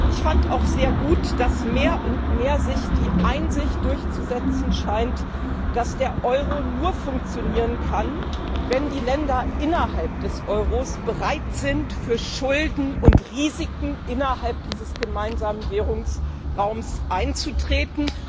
Ich fand auch sehr gut, dass sich mehr und mehr die Einsicht durchzusetzen scheint, dass der Euro nur funktionieren kann, wenn die Länder innerhalb der Eurozone bereit sind, für Schulden und Risiken innerhalb dieses gemeinsamen Währungsraums einzutreten.